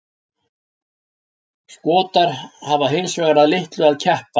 Skotar hafa hins vegar að litlu að keppa.